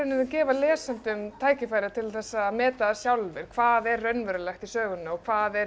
gefa lesendum tækifæri til þess að meta það sjálfir hvað er raunverulegt í sögunni og hvað er